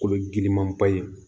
Kolo giriman ba ye